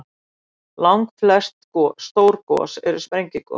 Langflest stór gos eru sprengigos.